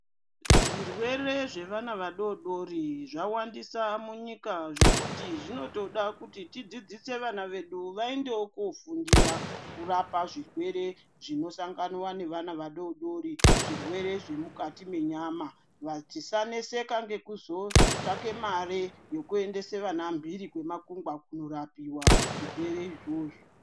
Zvirwere zvevana vadodori zvawandisa munyika zvekuti zvinotida kuti tidzidzisewo vana vedu vaendewo kunofundira zvirwere zvevana vadodori zvemukati menyama tisaneseka ngekuzosvake mari yekuendesa vana mhiri kwemakungwa kunorapiwa zvirwere izvozvo.